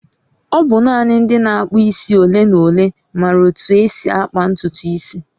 ọ bụ nanị ndị na-akpụ isi ole na ole maara otú e si akpa ntutu isi